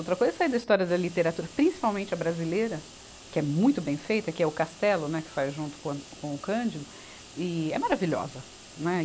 Outra coisa é sair da história da literatura, principalmente a brasileira, que é muito bem feita, que é o Castelo, né, que faz junto com o an, com o Candido, e é maravilhosa.